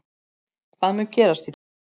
Hvað mun gerast í dag?